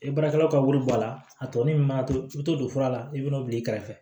E baarakɛlaw ka wari bɔ a la a tɔ min mana to i bi to don fura la i bi n'o bila i kɛrɛfɛ